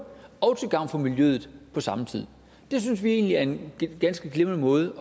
og til gavn for miljøet på samme tid det synes vi egentlig er en ganske glimrende måde